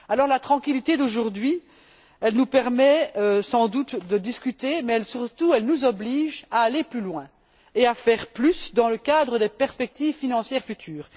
La tranquillité d'aujourd'hui nous permet donc sans doute de discuter, mais elle nous oblige surtout à aller plus loin et à faire plus dans le cadre des perspectives financières futures.